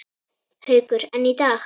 Haukur: En í dag?